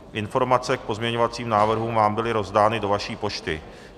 Informace k pozměňovacím návrhům vám byly rozdány do vaší pošty.